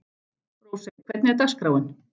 Rósey, hvernig er dagskráin?